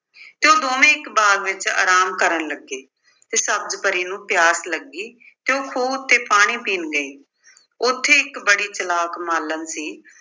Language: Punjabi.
ਤੇ ਉਹ ਦੋਵੇਂ ਇੱਕ ਬਾਗ ਵਿੱਚ ਆਰਾਮ ਕਰਨ ਲੱਗੇ ਤੇ ਸਬਜ਼ ਪਰੀ ਨੂੰ ਪਿਆਸ ਲੱਗੀ ਤੇ ਉਹ ਖੂਹ ਉੱਤੇ ਪਾਣੀ ਪੀਣ ਗਈ। ਉੱਥੇ ਇੱਕ ਬੜੀ ਚਾਲਾਕ ਮਾਲਣ ਸੀ,